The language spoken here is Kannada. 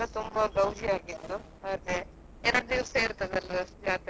ಹಾ ಜಾತ್ರೆ ಎಲ್ಲ ತುಂಬಾ ಗೌಜಿ ಆಗಿತ್ತು, ಮತ್ತೆ ಎರಡ್ ದಿವ್ಸ ಇರ್ತದಲ್ಲ ಜಾತ್ರೆ?